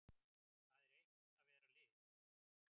Það er eitt að vera lið.